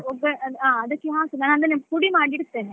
ಅದಕ್ಕೆ ಹಾಕುದು ಆಮೇಲೆ ಪುಡಿ ಮಾಡಿ ಇಡ್ತೇನೆ.